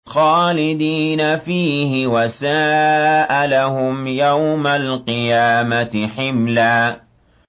خَالِدِينَ فِيهِ ۖ وَسَاءَ لَهُمْ يَوْمَ الْقِيَامَةِ حِمْلًا